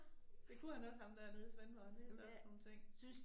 Det kunne han også ham dernede i Svendborg han vidste også nogle ting